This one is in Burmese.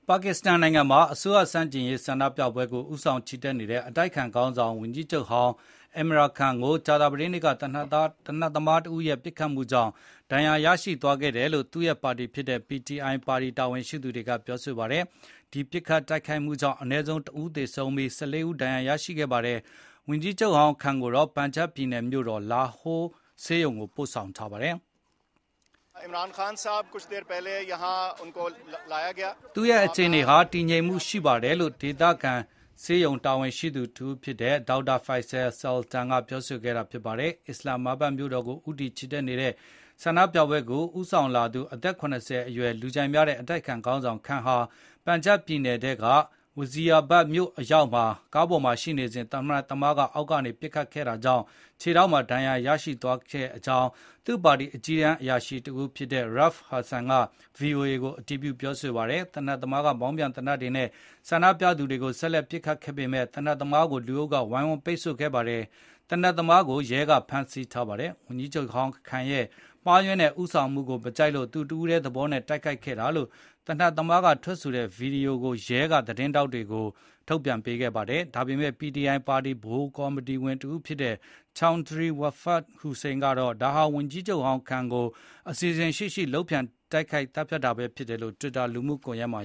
ပါကစ္စတန်နိုင်ငံမှာ အစိုးရဆန့်ကျင်ရေး ဆန္ဒပြပွဲကို ဦးဆောင်ချီတက်နေတဲ့ အတိုက်အခံခေါင်းဆောင် ဝန်ကြီးချုပ်ဟောင်း Imran Khan အင်မရမ်-ခန်း ကို ကြာသပတေးနေ့က သေနတ်သမားတဦးရဲ့ ပစ်ခတ်မှုကြောင့် ဒဏ်ရာ ရရှိသွားတယ်လို့ သူ့ရဲ့ ပါတီဖြစ်တဲ့ PTI ပါတီ တာဝန်ရှိသူတွေကပြောပါတယ်။ ဒီ ပစ်ခတ်တိုက်ခိုက်မှုကြောင့် အနည်းဆုံး ၁ ဦးသေဆုံးပြီး၊ ၁၄ ဦး ဒဏ်ရာရရှိခဲ့ပါတယ်။ ဝန်ကြီးချုပ်ဟောင်း Khan ကိုတော့ ပန်ဂျပ်ပြည်နယ်မြို့တော် လာဟိုးက ဆေးရုံကို ပို့ဆောင်ခဲ့ပါတယ်။ သူ့ရဲ့အခြေအနေဟာ တည်ငြိမ်မှု ရှိပါတယ်လို့ ဒေသဆေးရုံ တာဝန်ရှိသူတဦးဖြစ်တဲ့ Dr. Faisal Sultan က ပြောဆိုခဲ့တာ ဖြစ်ပါတယ်။ အစ္စလမ်မာဘတ်မြို့တော်ကို ဦးတည် ချီတက်လာတဲ့ ဆန္ဒပြပွဲကို ဦးဆောင်လာသူ အသက် ၇၀ အရွယ် လူကြိုက်များတဲ့ အတိုက်အခံခေါင်းဆောင် Khan ဟာ ပန်ဂျပ်ပြည်နယ်ထဲက Wazirabad မြို့အရောက် ကားပေါ်မှာ ရှိနေစဉ် သေနတ်သမားက အောက်ကနေ ပစ်ခတ်ခဲ့တာကြောင့် ခြေထောက်မှာ ဒဏ်ရာ ရသွားခဲ့ကြောင်း သူ့ပါတီရဲ့ အကြီးတန်းအရာရှိတဦးဖြစ်တဲ့ Rauf Hassan က VOA ကို အတည်ပြု ပြောဆိုပါတယ်။ သေနတ်သမားက မောင်းပြန် သေနတ်နဲ့ ဆန္ဒပြသူတွေကို ဆက်လက် ပစ်ခတ်ခဲ့ပေမယ့် သေနတ်သမားကို လူအုပ်က ဝိုင်းဝန်းပိတ်ဆို့ထားပြီး ရဲက ဖမ်းဆီးနိုင်ခဲ့ပါတယ်။ ဝန်ကြီးချုပ်ဟောင်း Khan ရဲ့ မှားယွင်းတဲ့ ဦးဆောင်မှုကို မကြိုက်လို့ သူတဦးထဲသဘောနဲ့တိုက်ခိုက်ခဲ့တာလို့ သေနတ်သမားက ထွက်ဆိုထားတဲ့ ဗွီဒီယိုဖိုင်ကို ရဲက သတင်းထောက်တွေကို ထုတ်ပြန်ခဲ့ပါတယ်။ ဒါပေမယ့် PTI ပါတီ ဗဟိုကော်မတီဝင် တဦးဖြစ်တဲ့ Chaudhry Fawad Hussain ကတော့ ဒါဟာ ဝန်ကြီးချုပ်ဟောင်း Khan ကို အစီအစဉ်ရှိရှိ လုပ်ကြံသတ်ဖြတ်တာပဲ ဖြစ်တယ်လို့ တွစ်တာ လူမှုကွန်ယက်မှာ